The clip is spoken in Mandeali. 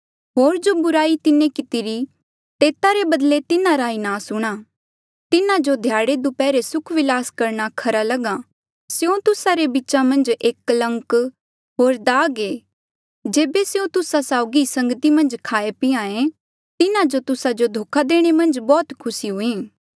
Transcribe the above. होर जो बुराई तिन्हें कितिरी तेता रे बदले तिन्हारा ई नास हूंणां तिन्हा जो ध्याड़ेदप्हैरा सुख विलास करणा खरा लग्हा स्यों तुस्सा रे बीचा मन्झ एक कलंक होर दाग ऐें जेबे स्यों तुस्सा साउगी ही संगती मन्झ खाहें पिहां ऐें तिन्हा जो तुस्सा जो धोखा देणे मन्झ बौह्त खुसी हुईं